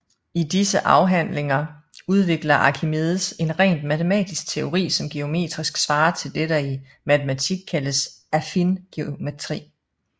I disse afhandlinger udvikler Archimedes en rent matematisk teori som geometrisk svarer til det der i matematik kaldes affin geometri